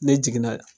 Ne jiginna